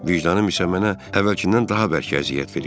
Vicdanım isə mənə əvvəlkindən daha bərk əziyyət verirdi.